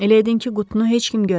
Elə edin ki, qutunu heç kim görməsin.